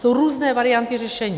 Jsou různé varianty řešení.